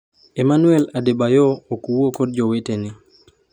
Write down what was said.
Emmanuel Adebayor ok wuo kod jowetene